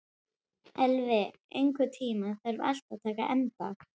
Elvi, einhvern tímann þarf allt að taka enda.